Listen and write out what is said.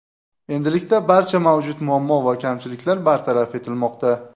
Endilikda barcha mavjud muammo va kamchiliklar bartaraf etilmoqda.